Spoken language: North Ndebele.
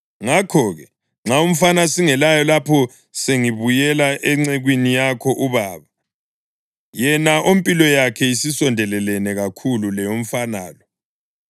Ngakho-ke, nxa umfana singelaye lapho sengibuyela encekwini yakho ubaba, yena ompilo yakhe isondelelene kakhulu leyomfana lo,